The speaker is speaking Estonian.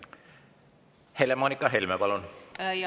Helle-Moonika Helme, palun!